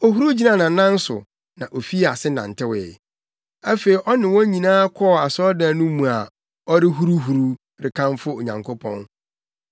Ohuruw gyinaa nʼanan so na ofii ase nantewee. Afei ɔne wɔn nyinaa kɔɔ asɔredan no mu a ɔrehuruhuruw, rekamfo Onyankopɔn.